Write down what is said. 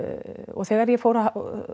og þegar ég fór að